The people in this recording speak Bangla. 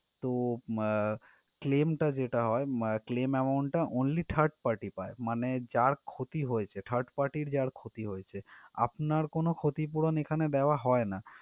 তো আহ claim টা যেটা হয় উম claims amount টা only third party পায়, মানে যার ক্ষতি হয়েছে third party যার ক্ষতি হয়েছে, আপনার কোনো ক্ষতি পুরন এখানে দেওয়া হয় না।